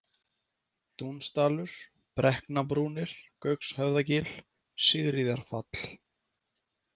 Dúnsdalur, Brekknabrúnir, Gaukshöfðagil, Sigríðarfall